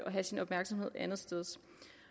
have sin opmærksomhed andetsteds